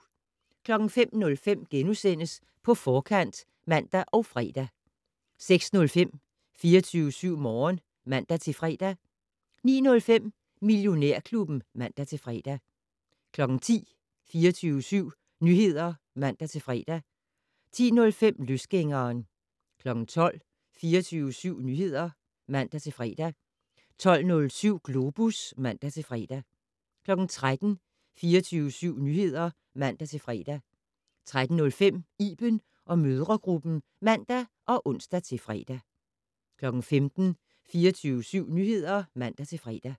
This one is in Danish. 05:05: På Forkant *(man og fre) 06:05: 24syv Morgen (man-fre) 09:05: Millionærklubben (man-fre) 10:00: 24syv Nyheder (man-fre) 10:05: Løsgængeren 12:00: 24syv Nyheder (man-fre) 12:07: Globus (man-fre) 13:00: 24syv Nyheder (man-fre) 13:05: Iben & mødregruppen (man og ons-fre) 15:00: 24syv Nyheder (man-fre)